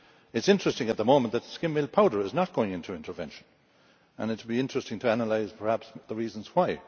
It is interesting at the moment that skimmed milk powder is not going into intervention, and it would be interesting to analyse the reasons why.